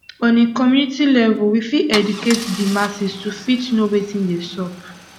on a community level we fit educate di masses to fit know wetin dey sup